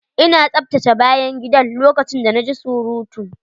Ina tsaftace bayan gidan lokacin da na ji surutu.